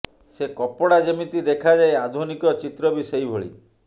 ସେ କପଡ଼ା ଯେମିତି ଦେଖାଯାଏ ଆଧୁନିକ ଚିତ୍ର ବି ସେଇ ଭଳି